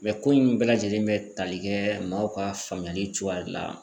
Mɛ ko in bɛɛ lajɛlen be tali kɛ maaw ka faamuyali cogoya de la